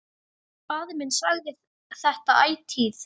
Faðir minn sagði þetta ætíð.